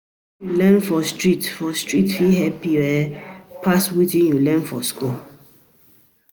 Wetin you learn for street for street fit help um you pass what you learn for school.